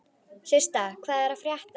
Systa, hvað er að frétta?